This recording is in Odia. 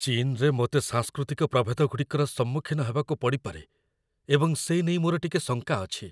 ଚୀନରେ ମୋତେ ସାଂସ୍କୃତିକ ପ୍ରଭେଦଗୁଡ଼ିକର ସମ୍ମୁଖୀନ ହେବାକୁ ପଡ଼ିପାରେ ଏବଂ ସେ ନେଇ ମୋର ଟିକେ ଶଙ୍କା ଅଛି ।